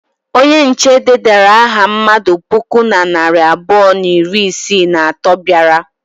Onye nche dedara aha mmadụ puku na narị abụọ na iri isii na atọ bịara.